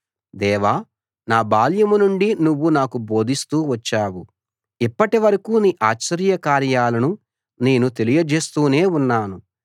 దేవా నా బాల్యం నుండి నువ్వు నాకు బోధిస్తూ వచ్చావు ఇప్పటి వరకూ నీ ఆశ్చర్య కార్యాలను నేను తెలియజేస్తూనే ఉన్నాను